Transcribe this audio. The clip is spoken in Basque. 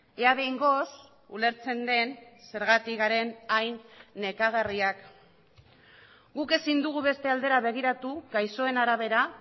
ea behingoz ulertzen den zergatik garen hain nekagarriak guk ezin dugu beste aldera begiratu gaixoen arabera